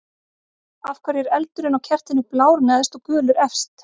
Af hverju er eldurinn á kertinu blár neðst og gulur efst?